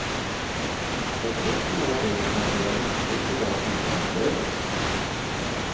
Ett gott råd är att placera lyktor på var sida om dörren.